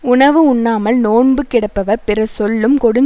உணவு உண்ணாமல் நோன்பு கிடப்பவர் பிறர் சொல்லும் கொடுஞ்